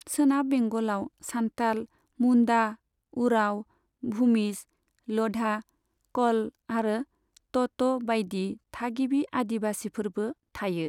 सोनाब बेंगलाव सान्थाल, मुन्डा, उराव, भुमिज, ल'धा, क'ल आरो टट' बायदि थागिबि आदिवासिफोरबो थायो।